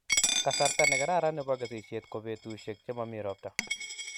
Kasarta ne kararan nebo kesisishet ko petushek che mami ropta